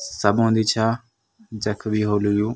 सब औंदी छा जख भी होलू यु।